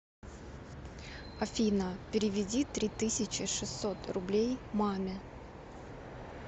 афина переведи три тысячи шестьсот рублей маме